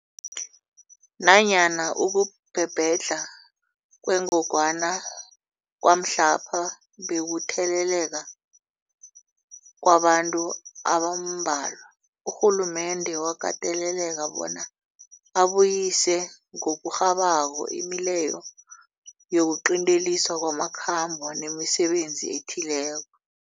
Nanyana ukubhebhedlha kwengogwana kwamhlapha bekukutheleleka kwabantu abambalwa, urhulumende wakateleleka bona abuyise ngokurhabako imileyo yokuqinteliswa kwamakhambo nemisebenzi ethileko.